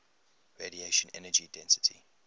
radiation energy density